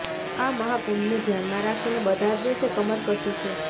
આ મહાકુંભને ધ્યાનમાં રાખીને બધા જ દેશે કમર કસી છે